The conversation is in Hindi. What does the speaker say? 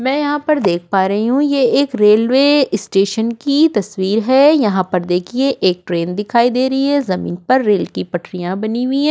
मैं यहाँ पर देख पा रही हु की एक रेल्वे स्टेशन की तस्वीर है यहाँ पर देखिये एक ट्रेन दिखाई दे रही है जमीन पर रेल की पटरीया बनी हुई है।